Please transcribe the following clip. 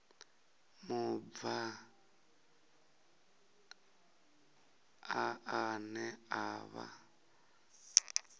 mubvann ḓa ane a vha